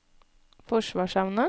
forsvarsevne